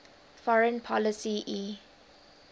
foreign policy e